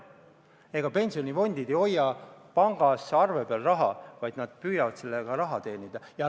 Ega pensionifondid ei hoia raha pangas arve peal, nad püüavad sellega raha teenida.